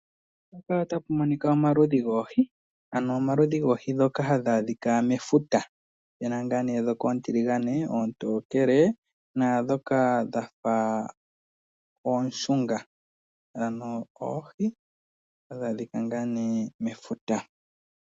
Mpaka otapu monika omaludhi goohi, ano omaludhi goohi ndhoka hadhi adhika mefuta opena ngaa nee ndhoka oontiligane, oontokele naandhoka dha fa ooshunga ano oohi hadhi adhika ngaa nee mefuta.